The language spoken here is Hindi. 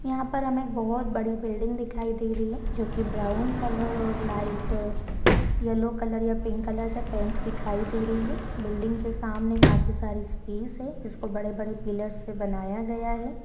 यहाँ पर हमें एक बहुत बड़ी बिल्डिंग दिखाई दे रही है जो कि ब्राउन कलर और लाइट येलो कलर या पिंक कलर से पेंट दिखाई दे रही है बिल्डिंग के सामने काफी सारी स्पेस है जिसको बड़े-बड़े पिलर से बनाया गया है।